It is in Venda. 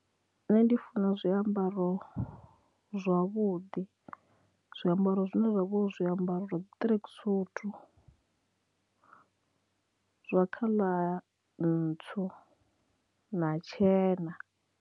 Nṋe ndi funa zwiambaro zwavhuḓi, zwiambaro zwine zwa vha zwiambaro zwa ṱirekisuthu zwa khaḽa ntswu na tshena.